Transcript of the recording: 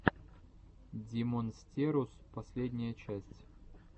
димонстерус последняя часть